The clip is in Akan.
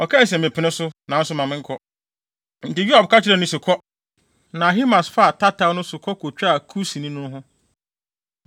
Ɔkae se, “Mepene so, nanso ma menkɔ.” Enti Yoab ka kyerɛɛ no se, “Kɔ!” Na Ahimaas faa tataw no so kɔ kotwaa Kusni no ho.